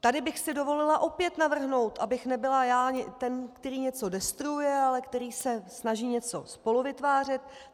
Tady bych si dovolila opět navrhnout, abych nebyla já ten, který něco destruuje, ale který se snaží něco spoluvytvářet.